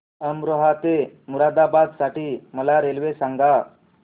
अमरोहा ते मुरादाबाद साठी मला रेल्वे सांगा